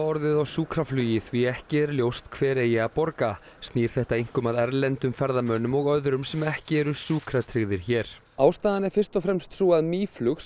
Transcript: orðið á sjúkraflugi því ekki er ljóst hver eigi að borga snýr þetta einkum að erlendum ferðamönnum og öðrum sem ekki eru sjúkratryggðir hér ástæðan er fyrst og fremst sú að Mýflug